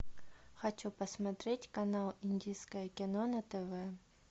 хочу посмотреть канал индийское кино на тв